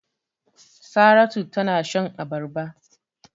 Saratu tana shan abarba.